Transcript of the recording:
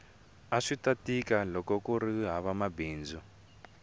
aswita tika loko akuri hava mabindzu